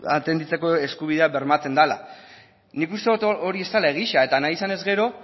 atenditzeko eskubidea bermatzen dala nik uste dot hori ez dala egia eta nahi izanez gero